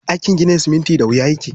Aikin ginin siminti da wuya yake.